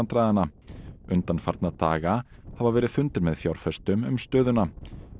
fjárhagsvandræðanna undanfarna daga hafi verið fundir með fjárfestum um stöðuna